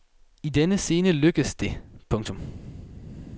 I denne scene lykkes det. punktum